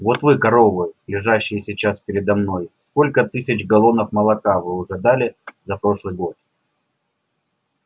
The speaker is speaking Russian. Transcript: вот вы коровы лежащие сейчас передо мной сколько тысяч галлонов молока вы уже дали за прошлый год